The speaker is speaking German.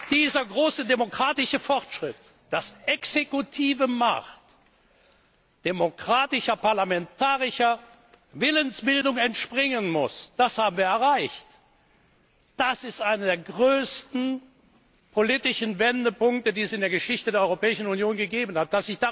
Dieser große demokratische Fortschritt, dass exekutive Macht demokratischer parlamentarischer Willensbildung entspringen muss, das haben wir erreicht. Das ist einer der größten politischen Wendepunkte, die es in der Geschichte der Europäischen Union gegeben hat.